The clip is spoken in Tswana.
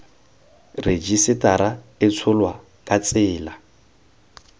rejisetara e tsholwa ka tsela